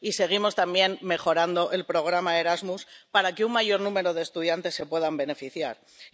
Y seguimos también mejorando el programa Erasmus para que un mayor número de estudiantes se puedan beneficiar de él.